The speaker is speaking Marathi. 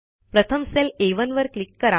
प्रथम सेल आ1 वर क्लिक करा